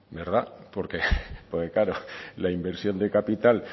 porque claro la inversión de capital